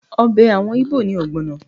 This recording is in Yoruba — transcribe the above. Ọbẹ̀ àwọn Íbò ni ọ̀gbọ̀nà